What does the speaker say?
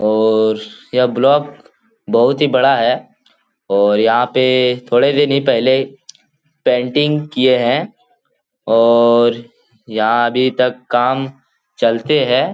और यह ब्लॉक बहुत ही बड़ा है और यहाँ पे थोड़े दिन ही पेहले पेंटिंग किए है और यहाँ अभी तक काम चलते है।